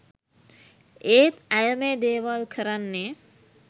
ඒත් ඇය මේ දෙවල් කරන්නේ